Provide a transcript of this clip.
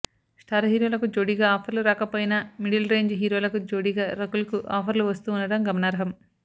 star హీరోలకు జోడీగా ఆఫర్లు రాకపోయినా మిడిల్ రేంజ్ హీరోలకు జోడీగా రకుల్ కు ఆఫర్లు వస్తూ ఉండటం గమనార్హం